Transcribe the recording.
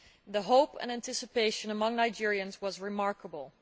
The hope and anticipation among Nigerians was remarkable.